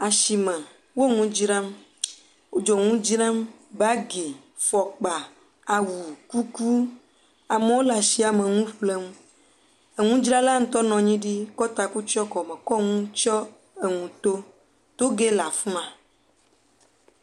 Asime, wo nu dzram, wo dzonuwo dzram, bagi, fɔkpa, kuku, amewo le asia me le nu ƒlem. Enu dzra la ŋutɔ nɔ anyi ɖi, kɔ enu tsɔe enu to, toge le afima.